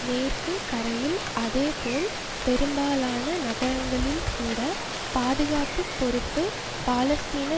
மேற்கு கரையில் அதேபோல் பெரும்பாலான நகரங்களில் கூட பாதுகாப்பு பொறுப்பு பாலஸ்தீன